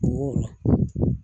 O y'o